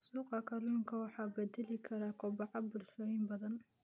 Suuqa kalluunka waxa uu bedeli karaa kobaca bulshooyin badan.